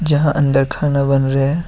यहां अंदर खाना बन रहा है।